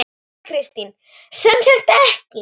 Þóra Kristín: Sem sagt ekki?